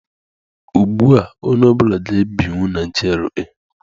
Ugbua, onye ọ bụla ga-ebinwu na GRA.